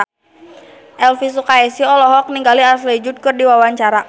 Elvy Sukaesih olohok ningali Ashley Judd keur diwawancara